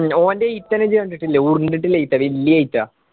ഓന്റെ എയിതെല്ലു ചേർന്നിട്ടില്ലെ എയിത്താ വെല്യ എയിത്താ